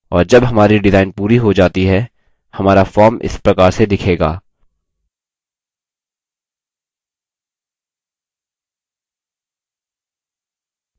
और जब हमारी डिजाइन पूरी हो जाती है हमारा form इस प्रकार से दिखेगा